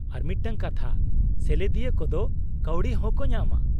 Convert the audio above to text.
-ᱟᱨ ᱢᱤᱫᱴᱟᱝ ᱠᱟᱛᱷᱟ, ᱥᱮᱞᱮᱫᱤᱭᱟᱹ ᱠᱚᱫᱚ ᱠᱟᱹᱣᱰᱤ ᱦᱚᱸᱠᱚ ᱧᱟᱢᱟ ᱾